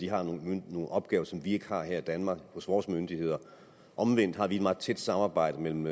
har nogle opgaver som vi ikke har her i danmark hos vores myndigheder omvendt har vi et meget tæt samarbejde mellem